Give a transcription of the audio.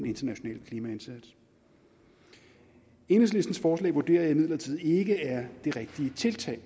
international klimaindsats enhedslistens forslag vurderer jeg imidlertid ikke er det rigtige tiltag